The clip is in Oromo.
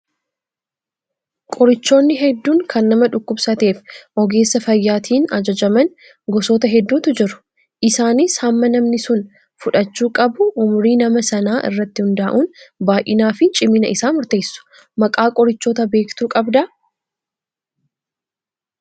Qorichoonni hedduun kan nama dhukkubsateef ogeessa fayyaatiin ajajaman gosoota hedduutu jiru. Isaanis hamma namni sun fudhachuu qabu umrii nama sanaa irratti hundaa'uun baay'inaa fi cimina isaa murteessu. Maqaa qorichoota beektuu qabdaa?